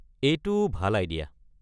এইটো ভাল আইডিয়া।